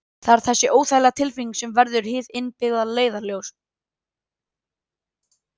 það er þessi óþægilega tilfinning sem verður hið innbyggða leiðarljós